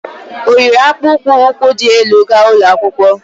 O yiri akpụkpó ukwu di elu ga ụlọ akwụkwọ?